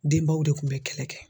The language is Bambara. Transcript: Denbaw de tun bɛ kɛlɛ kɛ